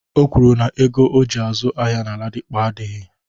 O kwuru na ego oji azụ ahịa na Ladipo adịghị.